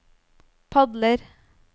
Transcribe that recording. padler